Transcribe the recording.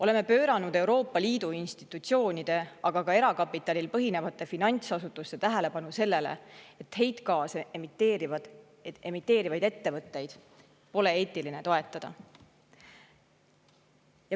Oleme juhtinud Euroopa Liidu institutsioonide, aga ka erakapitalil põhinevate finantsasutuste tähelepanu sellele, et heitgaase emiteerivaid ettevõtteid pole eetiline toetada.